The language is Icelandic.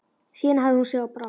Síðan hafði hún sig á brott.